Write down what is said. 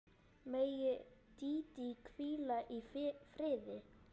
Megi Dídí hvíla í friði.